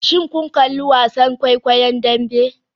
Shin kun kalli wasan kwaikwayon Dambe?